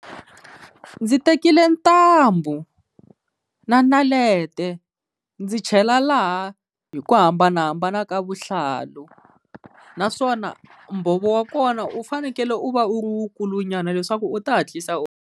Ndzi tekile ntambu na naleta ndzi chela laha hi ku hambanahambana ka vuhlalu, naswona mbhovo wa kona u fanekele u va u ri wu kulunyana leswaku u ta hatlisa u.